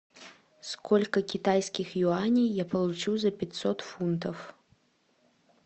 сколько китайских юаней я получу за пятьсот фунтов